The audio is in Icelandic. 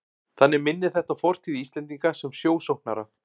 Þannig minnir þetta á fortíð Íslendinga sem sjósóknara.